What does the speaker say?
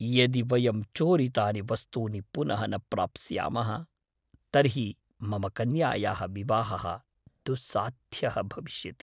यदि वयं चोरितानि वस्तूनि पुनः न प्राप्स्यामः तर्हि मम कन्यायाः विवाहः दुस्साध्यः भविष्यति। नागरिकः